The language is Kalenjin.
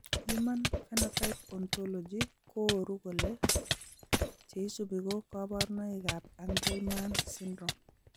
Human phenotype ontology kooru kole cheisubi ko kaborunoik ab angelman syndrome